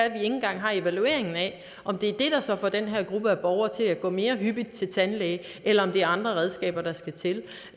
ikke engang har evalueringen af om det er det der så får den her gruppe af borgere til at gå mere hyppigt til tandlæge eller om det er andre redskaber der skal til